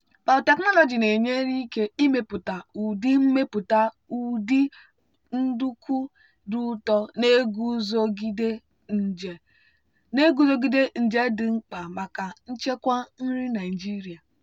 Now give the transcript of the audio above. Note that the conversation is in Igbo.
biotechnology na-enyere ike imepụta ụdị imepụta ụdị nduku dị ụtọ na-eguzogide nje dị mkpa maka nchekwa nri naijiria.